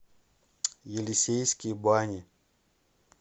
елисейские бани